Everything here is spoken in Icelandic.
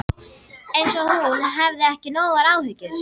Eins og hún hefði ekki nógar áhyggjur.